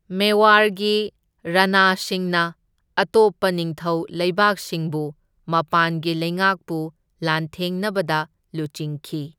ꯃꯦꯋꯥꯔꯒꯤ ꯔꯅꯥꯁꯤꯡꯅ ꯑꯇꯣꯞꯄ ꯅꯤꯡꯊꯧ ꯂꯩꯕꯥꯛꯁꯤꯡꯕꯨ ꯃꯄꯥꯟꯒꯤ ꯂꯩꯉꯥꯛꯄꯨ ꯂꯥꯟꯊꯦꯡꯅꯕꯗ ꯂꯨꯆꯤꯡꯈꯤ꯫